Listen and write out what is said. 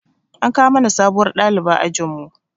An kawo mana sabuwar ɗaliba ajin mu